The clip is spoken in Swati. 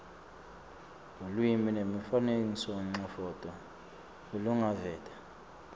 lulwimi nemifanekisomcondvo lolungaveta